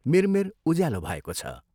मिरमिर उज्यालो भएको छ।